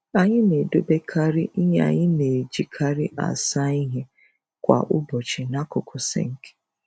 Anyị na-edobekari ihe anyị na-ejikari asa ihe kwa ụbọchị n'akụkụ sinki